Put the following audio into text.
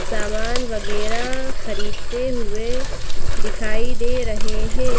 सामान वगैरह खरीदते हुए दिखाई दे रहे हैं।